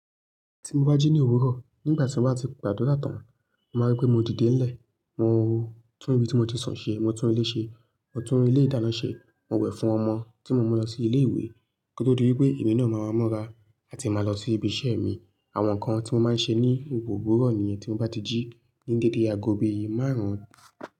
Tí mo bá jí ní òwúrọ̀, nígbà tí mo bá ti gbàdúrà tán, màá rí pé mo ti dé ilẹ, mo o, tún ibi tí mo ti sùn ṣe, mo tún ilé ṣe, mo tún ilé ìdáná ṣe, mo wẹ̀ fún ọmọ tí mo mú lọ sí ilé ìwé, kí ó tó di wípé èmí náà máa múra àti máa lọ sí ibi isẹ́ mi. Àwọn nǹkan tí mo máa ń ṣe ní òwúrọ̀ ní yẹ́n tí mo bá ti jí ní dédé ago bì ìyè márùn-ún.